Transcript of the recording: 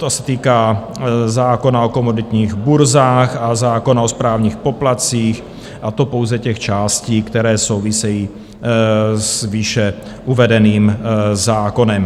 To se týká zákona o komoditních burzách a zákona o správních poplatcích, a to pouze těch částí, které souvisejí s výše uvedeným zákonem.